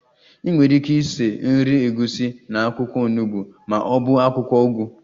Ị nwere ike esi nri egusi na akwụkwọ onugbo ma ọ bụ akwụkwọ ugu